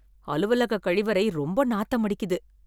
அலுவலக கழிவறை ரொம்ப நாத்தடிக்குது